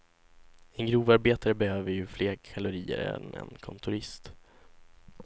En grovarbetare behöver ju fler kalorier än en kontorist.